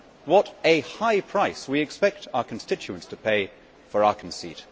What a high price we expect our constituents to pay for our conceit!